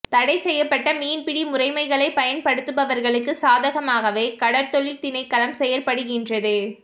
தடை செய்யப்பட்ட மீன் பிடி முறமைகளை பயண்படுத்து பவர்களுக்கு சாதகமாகவே கடற்தொழில் திணைக்களம் செயற்படுகின்றது